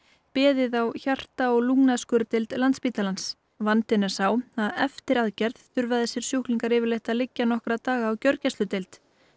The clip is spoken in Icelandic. beðið á hjarta og Landspítalans vandinn er sá að eftir aðgerð þurfa þessir sjúklingar yfirleitt að liggja nokkra daga á gjörgæsludeild